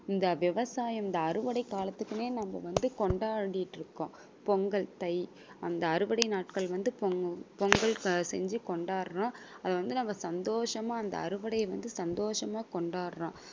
இந்த விவசாயம் இந்த அறுவடை காலத்துக்குன்னே நம்ம வந்து கொண்டாடிட்டு இருக்கோம். பொங்கல் தை அந்த அறுவடை நாட்கள் வந்து பொங்~ பொங்கல் செஞ்சு கொண்டாடுறோம். அது வந்து நம்ம சந்தோஷமா அந்த அறுவடைய வந்து சந்தோஷமா கொண்டாடுறோம்